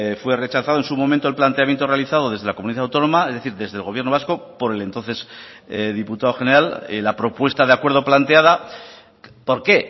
fue rechazado en su momento el planteamiento realizado desde la comunidad autónoma es decir desde el gobierno vasco por el entonces diputado general la propuesta de acuerdo planteada por qué